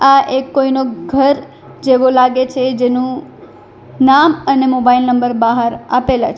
આ એક કોઈનો ઘર જેવો લાગે છે જેનું નામ અને મોબાઈલ નંબર બાહાર આપેલા છે.